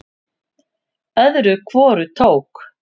Öðru hvoru tók